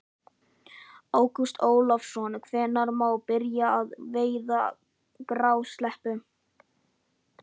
Ágúst Ólafsson: Hvenær má byrja að veiða grásleppu?